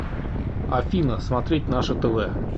афина смотреть наше тв